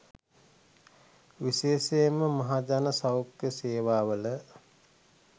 විශේෂයෙන්ම මහජන සෞඛ්‍ය සේවාවල